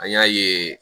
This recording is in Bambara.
An y'a ye